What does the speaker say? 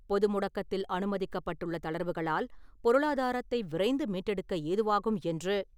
பொது முடக்கத்தில் அனுமதிக்கப்பட்டுள்ள தளர்வுகளால், பொருளாதாரத்தை விரைந்து மீட்டெடுக்க ஏதுவாகும் என்று,